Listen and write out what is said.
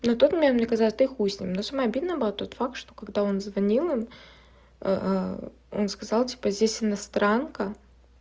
на тот момент мне казалось ну и хуй с ним но самое обидное было тот факт что когда он звонил им он сказал типа здесь иностранка